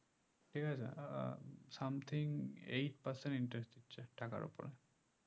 ঠিকাছে ah something eight percent interest দিচ্ছে টাকার উপর